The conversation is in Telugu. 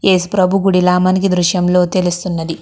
ఏసుప్రభు గుడి లా మనకి దృశ్యంలో తెలుస్తుంది.